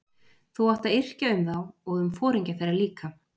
Þú átt að yrkja um þá og um foringja þeirra líka.